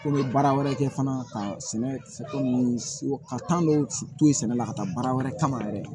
Ko n bɛ baara wɛrɛ kɛ fana ka sɛnɛ ko ka dɔw toyi sɛnɛ la ka taa baara wɛrɛ kama yɛrɛ